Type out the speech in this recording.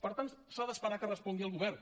per tant s’ha d’esperar que respongui el govern